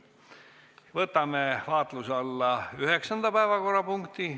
Võtame vaatluse alla 9. päevakorrapunkti.